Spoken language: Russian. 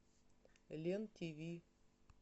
лен тв